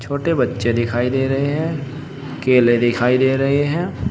छोटे बच्चे दिखाई दे रहे हैं केले दिखाई दे रहे हैं।